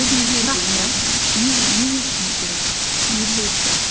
не не үшін керек не себепті